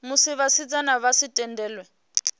musi vhasidzana vha sa tendelwi